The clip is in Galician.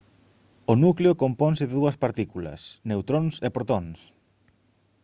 o núcleo componse de dúas partículas neutróns e protóns